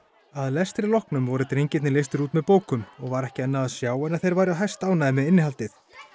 að lestri loknum voru drengirnir leystir út með bókum og var ekki annað að sjá en að þeir væru hæstánægðir með innihaldið